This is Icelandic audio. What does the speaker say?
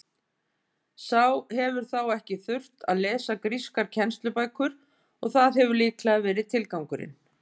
Sá hefur þá ekki þurft að lesa grískar kennslubækur og það hefur líklega verið tilgangurinn.